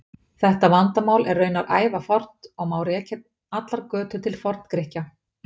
Þetta vandamál er raunar ævafornt og má rekja allar götur til Forngrikkja.